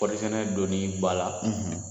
Kɔɔrisɛnɛ donni ba la